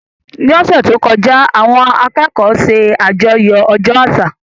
Ní ọ̀sẹ̀ tó kọjá, àwọn akẹ́kọ̀ọ́ ṣe àjọyọ̀ ọjọ́ àṣà